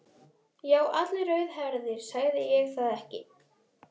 Já, allir rauðhærðir, sagði ég það ekki.